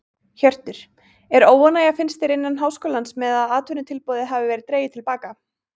Hjörtur: Er óánægja finnst þér innan háskólans með að atvinnutilboðið hafi verið dregið til baka?